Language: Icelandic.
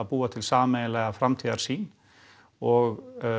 búum til sameiginlega framtíðarsýn og